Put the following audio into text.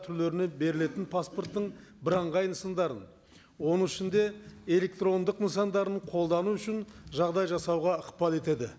түрлеріне берілетін паспорттың бірыңғай нысандарын оның ішінде электрондық нысандарын қолдану үшін жағдай жасауға ықпал етеді